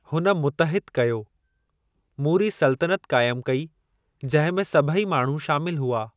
हुन मुतहिद कयो, मूरी सुलतनत क़ाइमु कई, जंहिं में सभई माण्हू शामिल हुआ।